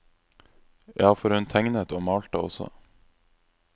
Ja, for hun tegnet og malte også.